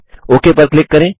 okay पर click करें